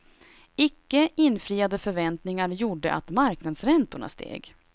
Icke infriade förväntningar gjorde att marknadsräntorna steg.